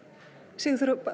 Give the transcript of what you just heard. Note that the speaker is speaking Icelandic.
Sigurþóra